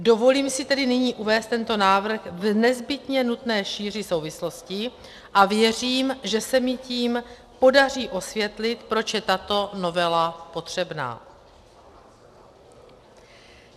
Dovolím si tedy nyní uvést tento návrh v nezbytně nutné šíři souvislostí a věřím, že se mi tím podaří osvětlit, proč je tato novela potřebná.